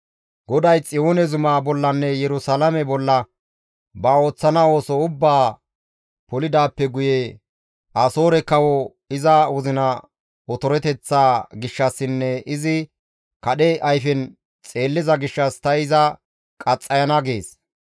GODAY Xiyoone zuma bollanne Yerusalaame bolla ba ooththana ooso ubbaa polidaappe guye, «Asoore kawo iza wozina otoreteththaa gishshassinne izi kadhe ayfen xeelliza gishshas ta iza qaxxayana» gees.